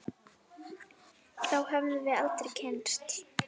Þá hefðum við aldrei kynnst